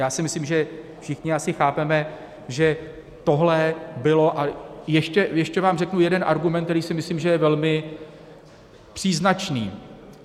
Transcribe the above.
Já si myslím, že všichni asi chápeme, že tohle bylo - a ještě vám řeknu jeden argument, který si myslím, že je velmi příznačný.